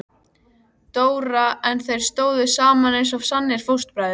Dóra en þeir stóðu saman eins og sannir fóstbræður.